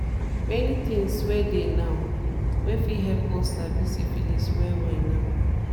many things were dey now were fit help us sabi syphilis well well now